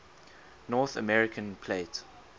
north american plate